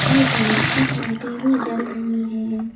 और बहुत सी लाइटें भी जल रही हैं।